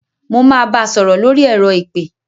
Mo máa bá sọ̀rọ̀ lórí ẹ̀rọ ìpè.